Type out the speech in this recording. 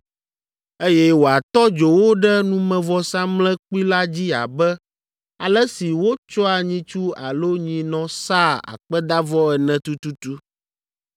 eye wòatɔ dzo wo ɖe numevɔsamlekpui la dzi abe ale si wotsɔa nyitsu alo nyinɔ sãa akpedavɔ ene tututu.